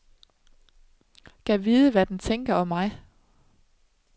Gad vide, hvad den tænker om mig.